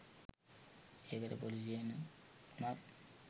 ඒකට පොලිසියෙන් උනත්